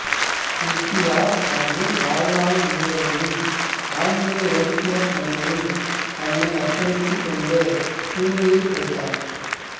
குந்தியா தனது வாழ்நாள் முழுவதையும் ஆன்மீக இலக்கியப் பணிகளில் தன்னை அர்ப்பணித்துக் கொண்டு புரியில் கழித்தார்